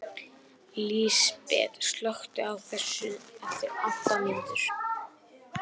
Lísbet, slökktu á þessu eftir átta mínútur.